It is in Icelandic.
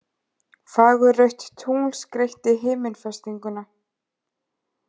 Fagurrautt tungl skreytti himinfestinguna